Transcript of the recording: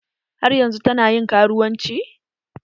Har yanzun ta na ƴin karuwanci?